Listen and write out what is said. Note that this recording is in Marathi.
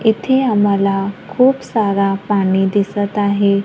इथे आम्हाला खूप सारा पाणी दिसतं आहे.